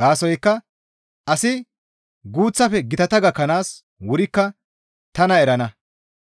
Gaasoykka asi guuththafe gitata gakkanaas wurikka tana erana.